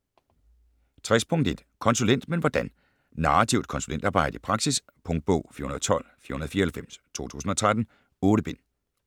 60.1 Konsulent - men hvordan? Narrativt konsulentarbejde i praksis Punktbog 412494 2013. 8 bind.